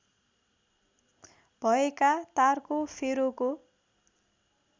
भएका तारको फेरोको